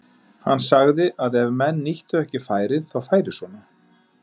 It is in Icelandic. Hann sagði að ef menn nýttu ekki færin þá færi svona.